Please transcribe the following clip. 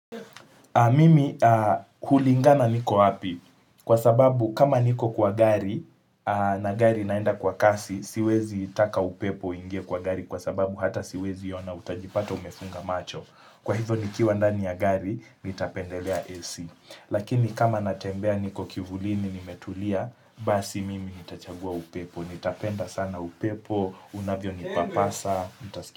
Mimi hulingana niko api, kwa sababu kama niko kwa gari, na gari naenda kwa kasi, siwezi taka upepo uingie kwa gari kwa sababu hata siwezi ona utajipata umefunga macho. Kwa hivyo nikiwa ndani ya gari, nitapendelea AC. Lakini kama natembea niko kivulini nimetulia, basi mimi nitachagua upepo. Nitapenda sana upepo, unavyo nipapasa.